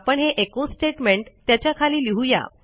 आपण हे echo statement त्याच्या खाली लिहूया